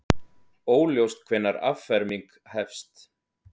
Óljóst hvenær afferming hefst